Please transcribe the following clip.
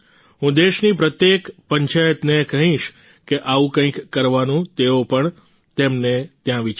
હું દેશની પ્રત્યેક પંચાયતને કહીશ કે આવું કંઈક કરવાનું તેઓ પણ તેમને ત્યાં વિચારે